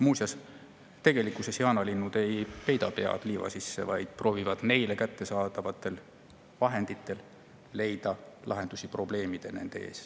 Muuseas, tegelikkuses jaanalinnud ei peida pead liiva sisse, vaid proovivad neile kättesaadavate vahendite abil oma probleemidele lahendusi leida.